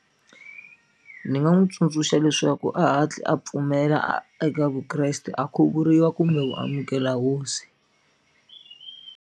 Ni nga n'wi tsundzuxa leswaku a hatli a pfumela eka Vukreste a khuvuriwa kumbe ku amukela hosi.